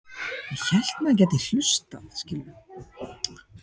Ég verð á næturvakt.